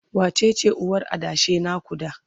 wacece uwar adashin na ku da?